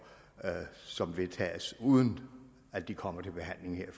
som vedtages uden at de kommer til behandling her i